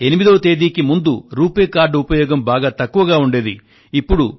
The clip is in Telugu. ఇంకా 8వ తేదీకి ముందు రూపే కార్డ్ ఉపయోగం బాగా తక్కువగా ఉండేది